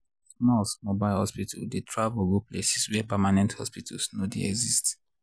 smalls mobile hospital dey travel go places where permanent hospitals no dy exist.